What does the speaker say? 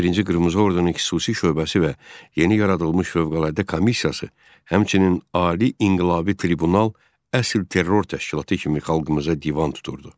11-ci qırmızı ordunun xüsusi şöbəsi və yeni yaradılmış fövqəladə komissiyası, həmçinin ali inqilabi tribunal əsil terror təşkilatı kimi xalqımıza divan tuturdu.